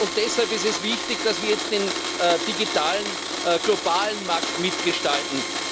Deshalb ist es wichtig, dass wir jetzt den digitalen globalen Markt mitgestalten.